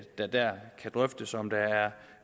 der dér kan drøftes om der er